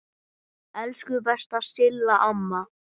Elsku besta Silla amma.